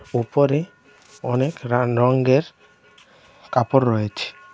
উপরে অনেক রান রঙ্গের কাপড় রয়েছে .